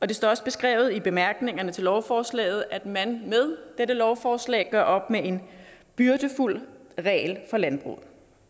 det står også beskrevet i bemærkningerne til lovforslaget at man med dette lovforslag gør op med en byrdefuld regel for landbruget